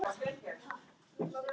Arnsteinn, er bolti á laugardaginn?